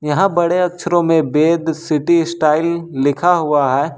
यहां बड़े अक्षरों में वेद सिटी स्टाइल लिखा हुआ हैं।